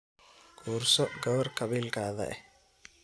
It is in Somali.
Kuurso gawar kabilkadha eh.